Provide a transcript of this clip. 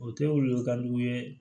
O tɛ wolo ka d'u ye